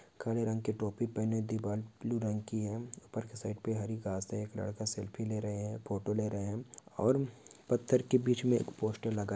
काले रंग की टोपी पहने दीवार ब्लू रंग की है उपर की साइड मे हरी घास है और एक लड़का सेल्फ़ी ले रहे है फोटो ले रहे है और पत्थर के बीच मे एक पोस्टर लगा है।